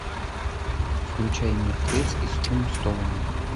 включай мертвец из тумстоуна